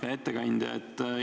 Hea ettekandja!